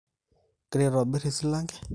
igira aitobir e silanke